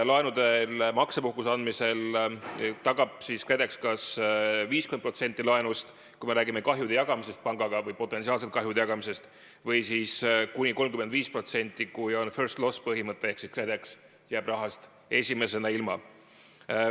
Laenude puhul maksepuhkuse andmisel tagab KredEx kas 50% laenust, kui me räägime kahjude jagamisest pangaga või potentsiaalselt kahjude jagamisest, või siis kuni 35%, kui on first-loss-põhimõte ehk siis KredEx jääb rahast esimesena ilma.